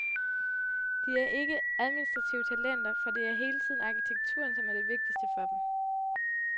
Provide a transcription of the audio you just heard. De er ikke administrative talenter, for det er hele tiden arkitekturen som er det vigtigste for dem.